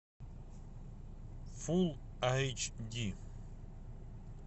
фулл айч ди